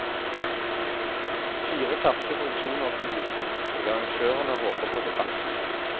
Fire ferske produksjoner skal vises, og arrangørene håper på debatt.